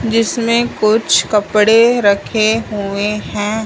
जिसमें कुछ कपड़े रखे हुए हैं।